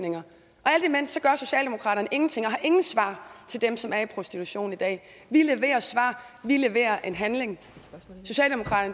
alt imens gør socialdemokratiet ingenting og har ingen svar til dem som er i prostitution i dag vi leverer svar vi leverer handling